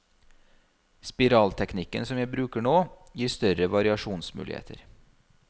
Spiralteknikken som jeg bruker nå, gir større variasjonsmuligheter.